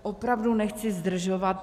Opravdu nechci zdržovat.